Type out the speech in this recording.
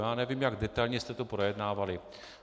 Já nevím, jak detailně jste to projednávali.